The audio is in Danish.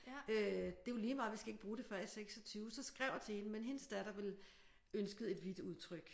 Øh det er jo lige meget vi skal ikke bruge det før i 26 så skrev jeg til hende men hendes datter ville ønskede et hvidt udtryk